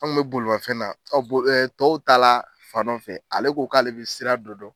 An kun bɛ bolimafɛn na tɔw taala fan dɔ fɛ ale ko k'ale bɛ sira dɔ dɔn.